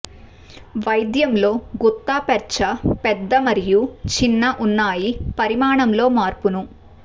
వైద్యంలో gutta percha పెద్ద మరియు చిన్న ఉన్నాయి పరిమాణంలో మార్పును